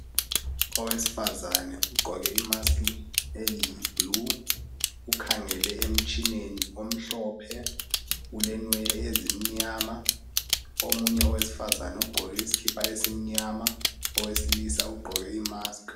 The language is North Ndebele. owesifazane ugqoke i mask eyi blue ukhangele emtshineni omhlophe ulenwele ezimnyama omunye owesifazana ugqoke isikipa esimnyama owesilisa ugqoke i mask